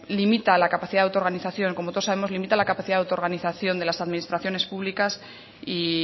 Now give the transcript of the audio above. limita la capacidad de autoorganización como todos sabemos limita la capacidad de autoorganización de las administraciones públicas y